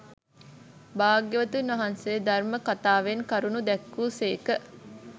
භාග්‍යවතුන් වහන්සේ ධර්ම කථාවෙන් කරුණු දැක්වූ සේක